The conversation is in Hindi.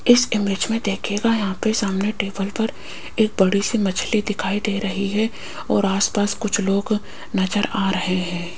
इस इमेज में देखिएगा यहां पे सामने टेबल पर एक बड़ी सी मछली दिखाई दे रही है और आस पास कुछ लोग नजर आ रहे हैं।